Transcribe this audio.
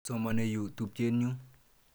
Somane yu tupchet nyu.